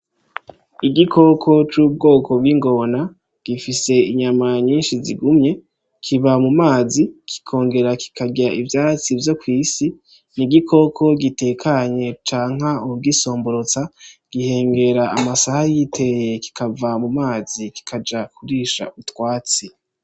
Igikoko c'ubwoko bw'ingona gifise inyama nyinshi zigumye kiba mu mazi kikongera kikarya ivyatsi vyo kwisi ni igikoko gitekanye canka uwu gisomborotsa, gihengera amasaha yitereye kikava mu mazi kikaja kurisha utwatsi